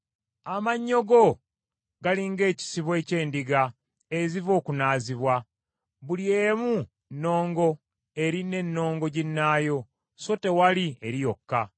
Amannyo go gali ng’ekisibo eky’endiga eziva okunaazibwa; buli emu nnongo eri n’ennongo ginnaayo, so tewali eri yokka.